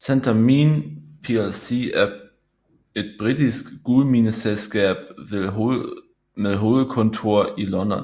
Centamin plc er et britisk guldmineselskab med hovedkontor i London